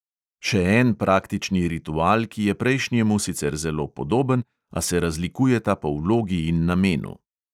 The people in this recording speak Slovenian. Še en praktični ritual, ki je prejšnjemu sicer zelo podoben, a se razlikujeta po vlogi in namenu.